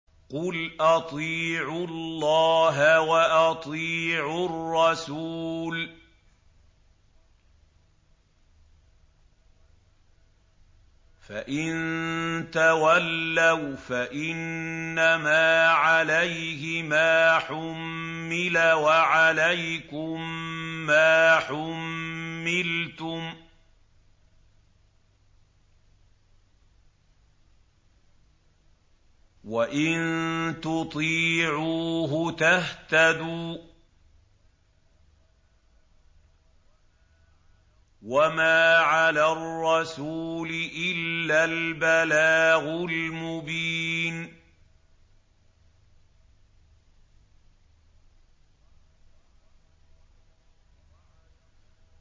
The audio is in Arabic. قُلْ أَطِيعُوا اللَّهَ وَأَطِيعُوا الرَّسُولَ ۖ فَإِن تَوَلَّوْا فَإِنَّمَا عَلَيْهِ مَا حُمِّلَ وَعَلَيْكُم مَّا حُمِّلْتُمْ ۖ وَإِن تُطِيعُوهُ تَهْتَدُوا ۚ وَمَا عَلَى الرَّسُولِ إِلَّا الْبَلَاغُ الْمُبِينُ